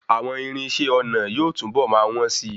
Àwọn irinṣé ọnà yóò tún bọ̀ máa wn sí.